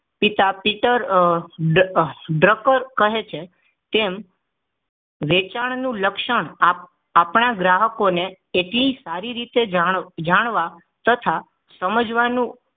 પિતા પિતર ઢકાર કહે છે તેમ વેચાણ નું લક્ષણ આપણા ગ્રાહકોને એટલે સારી રીતે જાણ જાણવા તથા સમજવાનું